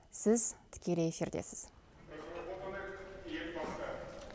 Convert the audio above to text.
сіз тікелей эфирдесіз